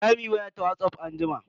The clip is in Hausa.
Zamu yi waya ta Whatsapp anjima.